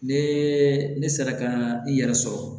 Ne ne sera ka n yɛrɛ sɔrɔ